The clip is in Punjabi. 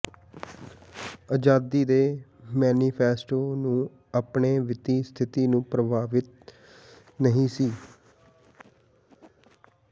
ਆਜ਼ਾਦੀ ਦੇ ਮੈਨੀਫੈਸਟੋ ਨੂੰ ਆਪਣੇ ਵਿੱਤੀ ਸਥਿਤੀ ਨੂੰ ਪ੍ਰਭਾਵਿਤ ਨਹੀ ਸੀ